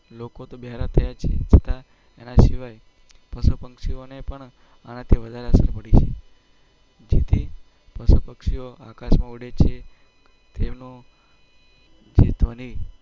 બહરા ત્યાં છે. એના સિવાય પક્ષીઓને પણ આનાથી વધારે. ડીડી પશુ પક્ષીઓ આકાશમાં ઉડી છે. ધોની લોકો.